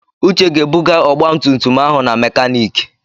Uche ga-ebuga ọgba tum tum ahụ na makaniki.